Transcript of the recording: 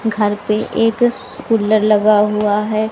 घर पे एक कूलर लगा हुआ है।